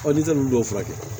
n'i tɛ ninnu dɔw furakɛ